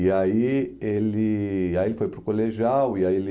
E aí ele ai ele foi para o colegial e aí ele...